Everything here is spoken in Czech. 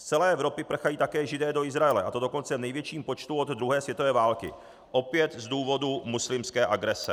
Z celé Evropy prchají také Židé do Izraele, a to dokonce v největším počtu od druhé světové války, opět z důvodu muslimské agrese.